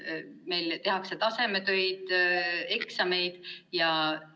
Meil tehakse tasemetöid, eksameid jne.